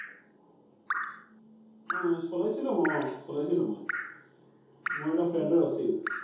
অ, চলাইছিলো অ, চলাইছিলো মই। মোৰ এটা friend ৰ আছিল।